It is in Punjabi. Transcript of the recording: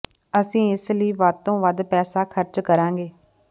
ਅਸੀਂ ਇਸ ਲਈ ਵੱਧ ਤੋਂ ਵੱਧ ਪੈਸਾ ਖਰਚ ਕਰਾਂਗੇ